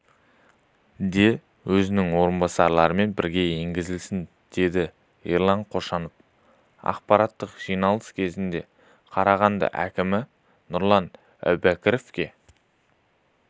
де өзінің орынбасарымен бірге енгізілсін деді ерлан қошанов аппараттық жиналыс кезінде қарағанды әкімі нұрлан әубәкіровке